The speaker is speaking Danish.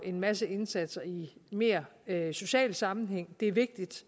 en masse indsatser i mere mere social sammenhæng det er vigtigt